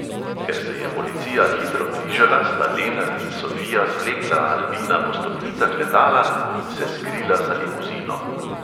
Ker se je policija hitro bližala, sta lenart in sofija zvlekla albina po stopnicah letala in se skrila za limuzino.